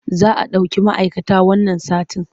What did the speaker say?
Za a ɗauki ma'aikata wannan satin.